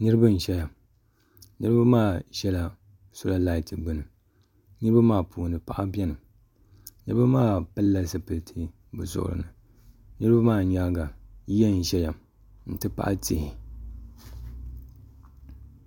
niraba n ʒɛya niraba maa ʒɛla soola lait gbuni niraba maa puuni paɣa biɛni niraba maa pilila zipiliti bi zuɣuri ni niraba maa nyaanga yiya n ʒɛya n ti pahi tihi